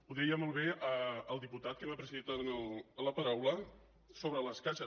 ho deia molt bé el diputat que m’ha precedit ara en la paraula sobre les caixes